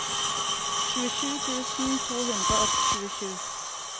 tjuesju tusen to hundre og tjuesju